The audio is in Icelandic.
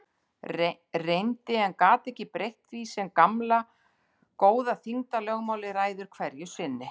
Reyndi- en gat ekki breytt því sem gamla góða þyngdarlögmálið ræður hverju sinni.